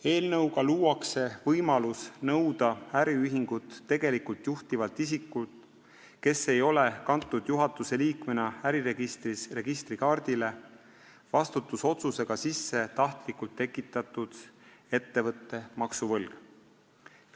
Eelnõuga luuakse võimalus nõuda äriühingut tegelikult juhtivalt isikult, kes ei ole kantud juhatuse liikmena äriregistris registrikaardile, vastutusotsusega sisse tahtlikult tekitatud ettevõtte maksuvõlg.